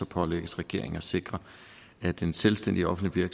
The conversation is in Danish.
pålægges regeringen at sikre at den selvstændige offentlige